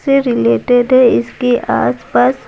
से रिलेटेड है इसके आसपास।